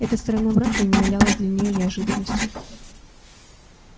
эта сторона брака не являлась для нее неожиданностью